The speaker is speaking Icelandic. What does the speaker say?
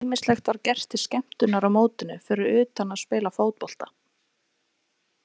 Ýmislegt var gert til skemmtunar á mótinu fyrir utan að spila fótbolta.